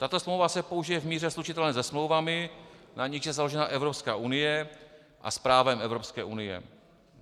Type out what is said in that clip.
Tato smlouva se použije v míře slučitelné se smlouvami, na nichž je založena Evropská unie, a s právem Evropské unie.